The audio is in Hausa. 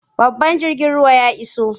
Babban jirgin ruwan ya iso.